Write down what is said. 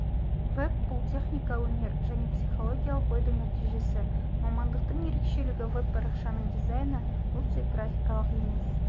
веб бұл техника өнер және психологиялық ойдың нәтижесі мамандықтың ерекшелігі веб-парақшаның дизайны бұл тек графикалық емес